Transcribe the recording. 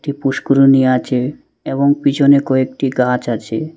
একটি পুষ্করিণী আছে এবং পিছনে কয়েকটি গাছ আছে।